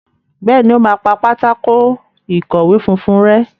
Béèni o má pá Pátákó ìkọ̀wé funfun rè.